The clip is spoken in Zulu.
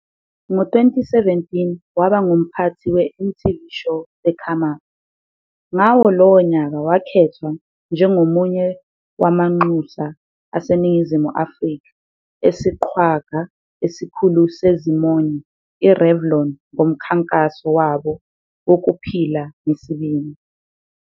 Ngo-2017 waba ngumphathi we-MTVshow The Come Up, Ngawo lowo nyaka wakhethwa njengomunye wamanxusa aseNingizimu Afrika esiqhwaga esikhulu sezimonyo iRevlon ngomkhankaso wabo wokuphila ngesibindi.